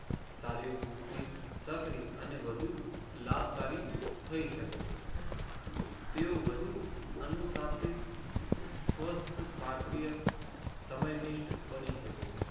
સારી વૃદ્ધિ સક્રિય અને વધુ લાભકારી થઈ શકે છે. તેઓ વધુ અનુસાસિત સ્વથ્ય શક્રિય સમય નિષ્ઠ બની શકે છે.